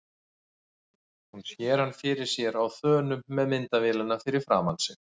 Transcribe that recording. Hún sér hann fyrir sér á þönum með myndavélina fyrir framan sig.